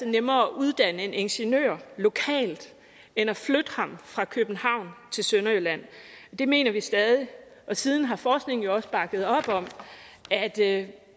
nemmere at uddanne en ingeniør lokalt end at flytte ham fra københavn til sønderjylland det mener vi stadig og siden har forskningen jo også bakket op om at